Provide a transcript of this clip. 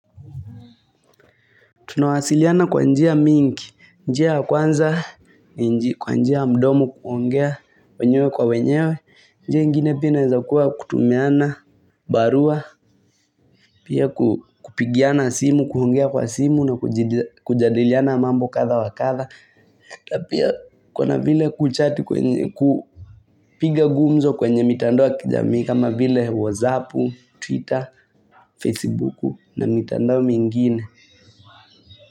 Tunawasiliana kwa njia mingi, njia ya kwanza, kwa njia mdomo kuongea, wenyewe kwa wenyewe, njia ingine pia za kuwa kutumiana, barua, pia ku kupigiana simu, kuongea kwa simu na kujadiliana mambo kadha wa kadha. Na pia kuna vile kuchati kwenye, kupiga gumzo kwenye mitandoa kijamii kama vile whatsappu, twitter, facebooku na mitandoa mingine.